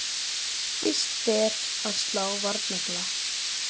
En fyrst ber að slá varnagla.